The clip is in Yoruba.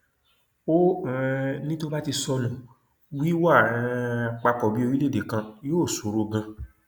ó um ní tó bá ti sọnù wíwà um papọ bíi orílẹèdè kan yóò ṣòro ganan